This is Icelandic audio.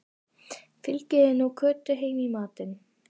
Fylgið þið nú Kötu heim í matinn